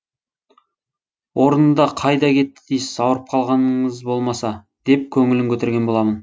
орнында қайда кетті дейсіз аурып қалғаныңыз болмаса деп көңілін көтерген боламын